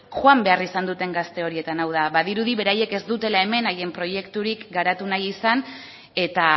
joan behar izan duten gazte horietan hau da badirudi beraiek ez dutela hemen haien proiekturik garatu nahi izan eta